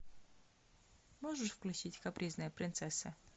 можешь включить капризная принцесса